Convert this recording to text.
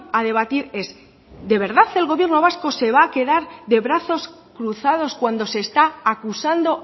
a debatir es de verdad el gobierno vasco se va a quedar de brazos cruzados cuando se está acusando